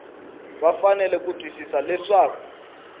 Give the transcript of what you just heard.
va fanele ku twisisa leswaku